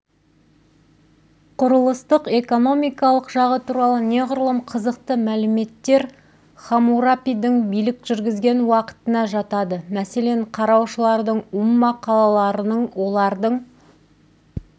құрылыстық экономикалық жағы туралы неғұрлым қызықты мәліметтер хамурапидің билік жүргізген уақытына жатады мәселен қараушылардың умма қалаларының олардың